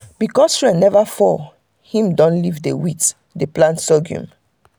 because rain never too fall him don leave wheat dey plant sorghum.